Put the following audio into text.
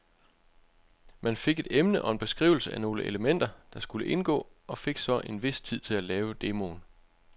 Man fik et emne og en beskrivelse af nogle elementer, der skulle indgå, og fik så en vis tid til at lave demoen.